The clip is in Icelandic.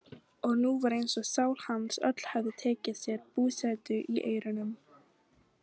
Og nú var eins og sál hans öll hefði tekið sér búsetu í eyrunum.